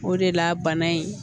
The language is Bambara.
O de la bana in